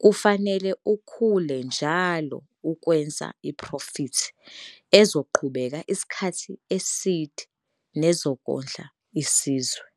kufanele ukhule njalo ukwenza iphrofithi ezoqhubeka isikhathi eside nezokondla isizwe.